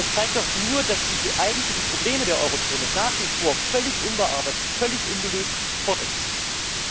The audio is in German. Das zeigt doch nur, dass die eigentlichen Probleme der Eurozone nach wie vor völlig unbearbeitet, völlig ungelöst fortexistieren.